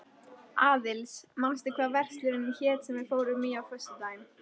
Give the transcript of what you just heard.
Aðils, manstu hvað verslunin hét sem við fórum í á föstudaginn?